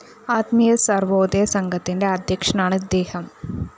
ആത്മീയ സര്‍വോദയ സംഘത്തിന്റെ അദ്ധ്യക്ഷനാണ് ഇദ്ദേഹം